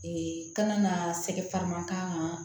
kana na sɛgɛn farama k'a kan